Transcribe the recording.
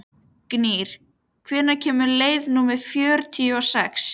Gnýr, hvenær kemur leið númer fjörutíu og sex?